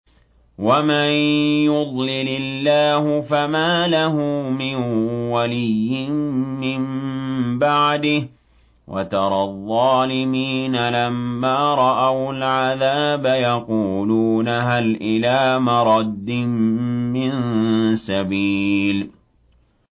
وَمَن يُضْلِلِ اللَّهُ فَمَا لَهُ مِن وَلِيٍّ مِّن بَعْدِهِ ۗ وَتَرَى الظَّالِمِينَ لَمَّا رَأَوُا الْعَذَابَ يَقُولُونَ هَلْ إِلَىٰ مَرَدٍّ مِّن سَبِيلٍ